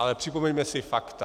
Ale připomeňme si fakta.